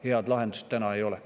Head lahendust täna ei ole.